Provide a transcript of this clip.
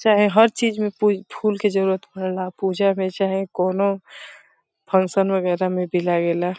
चाहे हर चीज में पूज फूल के जरुरत पड़ेला पूजा में चाहे कोनो फंक्शन वैगरह में भी लागेला।